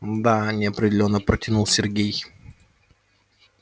мда неопределённо протянул сергей